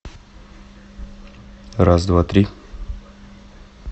раз два три